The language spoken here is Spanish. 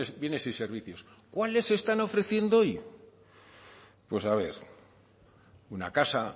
bienes y servicios cuáles están ofreciendo hoy pues a ver una casa